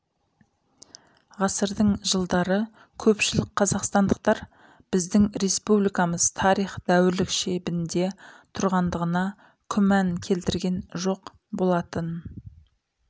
ғасырдың жылдары көпшілік қазақстандықтар біздің республикамыз тарих дәуірлік шебінде тұрғандығына күмән келтірген жоқ болатын